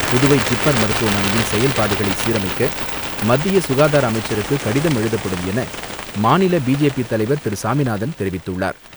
Puduvai JIPMER மருத்துவமனையின் செயல்பாடுகளை சீரமைக்க மத்திய சுகாதார அமைச்சருக்கு கடிதம் எழுதப்படும் என மாநில பிஜேபி தலைவர் திரு. சாமிநாதன் தெரிவிதுள்ளர்.